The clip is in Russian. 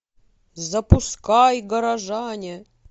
запускай горожане